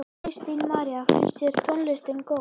Kristín María: Finnst þér tónlistin góð?